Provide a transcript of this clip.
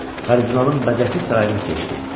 Kardinalın bəzəkli sarayını keçdi.